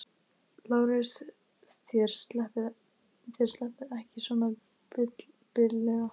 LÁRUS: Þér sleppið ekki svona billega.